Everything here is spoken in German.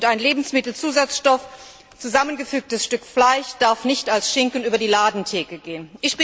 Und ein Lebensmittelzusatzstoff, ein zusammengefügtes Stück Fleisch, darf nicht als Schinken über die Ladentheke gehen.